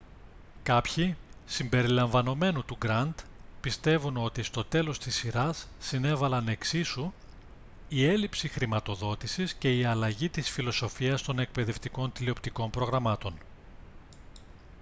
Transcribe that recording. κάποιοι συμπεριλαμβανομένου του grant πιστεύουν ότι στο τέλος της σειράς συνέβαλαν εξίσου η έλλειψη χρηματοδότησης και η αλλαγή της φιλοσοφίας των εκπαιδευτικών τηλεοπτικών προγραμμάτων